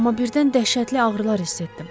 amma birdən dəhşətli ağrılar hiss etdim.